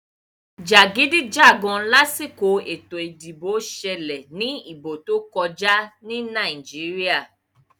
Jagidijagan lásìkò ètò ìdìbò ṣẹlẹ ní ìbò tó kọjá ní Nàìjíríà.